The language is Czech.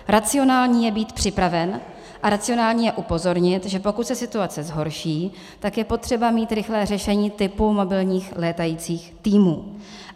Racionální je být připraven a racionální je upozornit, že pokud se situace zhorší, tak je potřeba mít rychlé řešení typu mobilních létajících týmů.